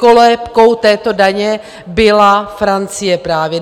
kolébkou této daně byla Francie právě.